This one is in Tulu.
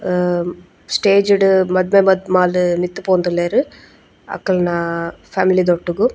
ಆ ಸ್ಟೇಜ್ ಡ್ ಮದ್ಮೆ ಮದ್ಮಾಲ್ ಮಿತ್ತ್ ಪೋವೊಂದುಲ್ಲೆರ್ ಅಕಲ್ನ ಫ್ಯಾಮಿಲಿ ದೊಟ್ಟುಗು.